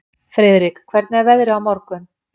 Friðrik, hvernig er veðrið á morgun?